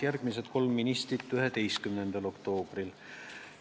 Järgmised kolm ministrit tulid komisjoni 11. oktoobril.